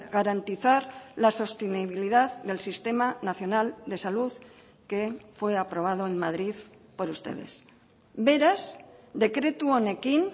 garantizar la sostenibilidad del sistema nacional de salud que fue aprobado en madrid por ustedes beraz dekretu honekin